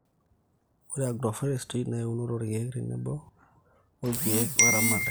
ore agroforestry na eunoto oolkiek tenebo ilkiek woo eramatare